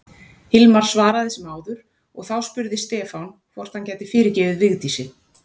Hilmar svaraði sem áður og þá spurði Stefán hvort hann gæti fyrirgefið Vigdísi.